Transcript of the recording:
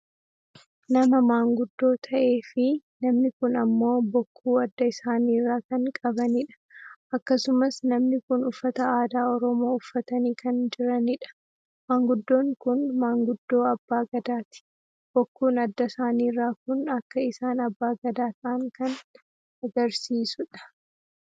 Nama maanguddoo ta'e fi namni kun ammoo bokkuu adda isaaniirra kan qabanidha. Akkasumas namni kun uffata aadaa oromoo uffatanii kan jiranidha. Maanguddoon kun maanguddoo Abbaa Gadaati. Bokkuun adda isaaniirra kun akka isaan Abbaa Gadaa ta'an kan agarsiisuudha.